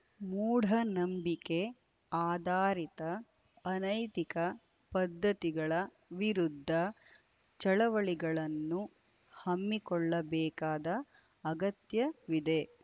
ಮೂಢನಂಬಿಕೆ ಆಧಾರಿತ ಅನೈತಿಕ ಪದ್ಧತಿಗಳ ವಿರುದ್ಧ ಚಳವಳಿಗಳನ್ನು ಹಮ್ಮಿಕೊಳ್ಳಬೇಕಾದ ಅಗತ್ಯವಿದೆ